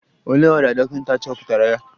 Olee ọrịa dọkịta chọpụtara ya?